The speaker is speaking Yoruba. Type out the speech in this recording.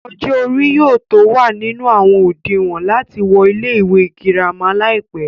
ọjọ́ orí yóò tó wà nínú àwọn òdinwọ̀n láti wọ ilé ìwé girama láìpẹ́